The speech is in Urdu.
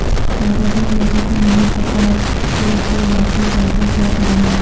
زیادہ تر لوگوں کو نہیں پتہ کہ وہ واپس جاکر کیا کریں گے